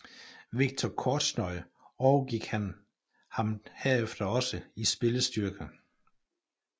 Viktor Kortsjnoj overgik ham herefter også i spillestyrke